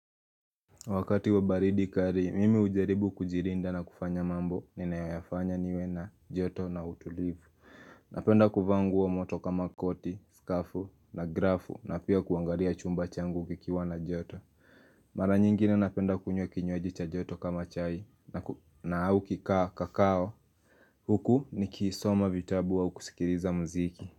Wakati wa baridi kali, mimi hujaribu kujilinda na kufanya mambo, ninayafanya niwe na joto na utulivu. Napenda kuvaa moto kama koti, skafu na grafu na pia kuangalia chumba changu kikiwa na joto. Mara nyingine napenda kunywa kinywaji cha joto kama chai na au kikaa kikao. Huku ni kisoma vitabu au kusikiliza mziki.